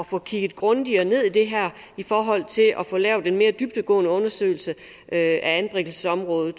få kigge grundigere ned i det her i forhold til at få lavet en mere dybdegående undersøgelse af anbringelsesområdet